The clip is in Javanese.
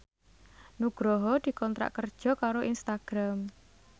Nugroho dikontrak kerja karo Instagram